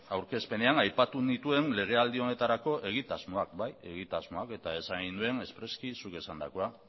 aurkezpenean aipatu nituen lege aldi honetarako egitasmoak bai egitasmoak eta esan nuen espreski zuk esandakoa